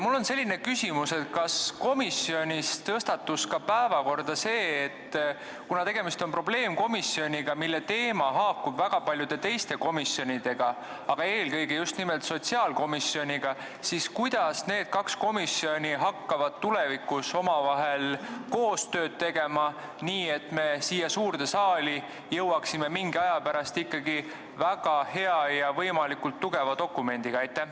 Mul on selline küsimus: kas komisjonis tõstatus päevakorda ka see, et kuna tegemist on probleemkomisjoniga, mille teema haakub väga paljude teiste komisjonidega, eelkõige sotsiaalkomisjoniga, siis kuidas hakkavad need kaks komisjoni tulevikus omavahel koostööd tegema, nii et me jõuaksime mingi aja pärast siia suurde saali ikkagi väga hea ja võimalikult tugeva dokumendiga?